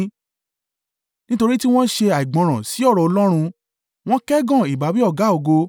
nítorí tí wọ́n ṣe àìgbọ́ràn sí ọ̀rọ̀ Ọlọ́run, wọ́n kẹ́gàn ìbáwí Ọ̀gá-ògo,